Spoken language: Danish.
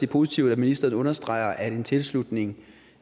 positivt at ministeren understreger at en tilslutning